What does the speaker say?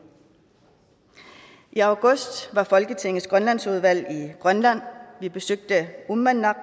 i august var folketingets grønlandsudvalg i grønland vi besøgte uummannaq